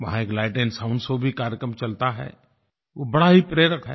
वहाँ एक light and sound show भी कार्यक्रम चलता है वो बड़ा ही प्रेरक है